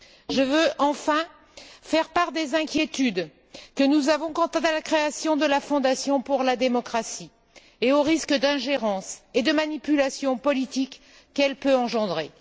Je veux, enfin, faire part des inquiétudes que nous avons quant à la création de la fondation pour la démocratie et aux risques d'ingérence et de manipulation politique qu'elle peut engendrer.